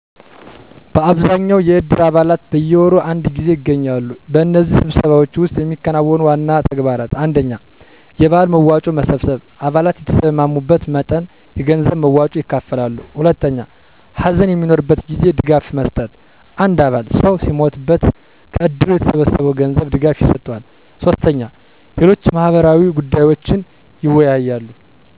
በአብዛኛው የእድር አባላት በየወሩ አንድ ጊዜ ይገናኛሉ። በእነዚህ ስብሰባዎች ውስጥ የሚከናወኑ ዋና ተግባራት: 1. የበዓል መዋጮ መሰብሰብ _አባላት የተስማሙትን መጠን የገንዘብ መዋጮ ይከፍላሉ። 2. ሀዘን በሚኖርበት ጊዜ ድጋፍ መስጠት _አንድ አባል ሰው ሲሞትበት ከእድሩ ከተሰበሰበው ገንዘብ ድጋፍ ይሰጠዋል። 3. ሌሎች ማህበራዊ ጉዳዮችንም ይወያያሉ።